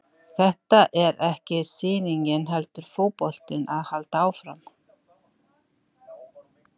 Þetta er ekki sýningin heldur verður fótboltinn að halda áfram.